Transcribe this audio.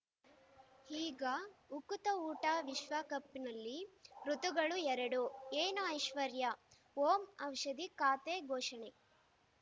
ಈಗ ಉಕುತ ಊಟ ವಿಶ್ವಕಪ್‌ನಲ್ಲಿ ಋತುಗಳು ಎರಡು ಏನು ಐಶ್ವರ್ಯಾ ಓಂ ಔಷಧಿ ಖಾತೆ ಘೋಷಣೆ